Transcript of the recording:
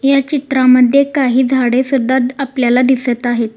या चित्रांमध्ये काही झाडे सुद्धा आपल्याला दिसत आहेत.